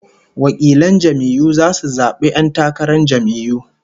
Delegates will vote in the primaries